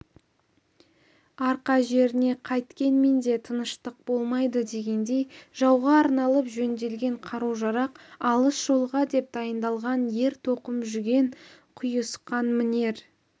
арқа жеріне қайткенмен де тыныштық болмайды дегендей жауға арналып жөнделген қару-жарақ алыс жолға деп дайындалған ер-тоқым жүген-құйысқан мінер